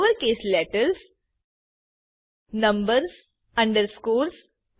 lowercase letters numbers underscores